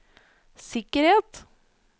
sikkerhet